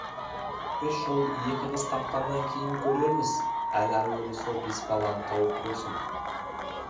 үш ұл екі қыз тапқаннан кейін көрерміз әлі әуелі сол бес баланы тауып көрсін